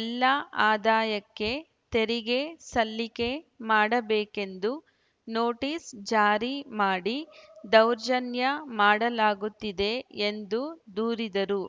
ಎಲ್ಲ ಆದಾಯಕ್ಕೆ ತೆರಿಗೆ ಸಲ್ಲಿಕೆ ಮಾಡಬೇಕೆಂದು ನೋಟೀಸ್‌ ಜಾರಿ ಮಾಡಿ ದೌರ್ಜನ್ಯ ಮಾಡಲಾಗುತ್ತಿದೆ ಎಂದು ದೂರಿದರು